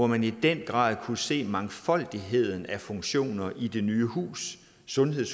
man i den grad se mangfoldigheden af funktioner i det nye sundheds